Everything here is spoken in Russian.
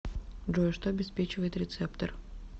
джой что обеспечивает рецептор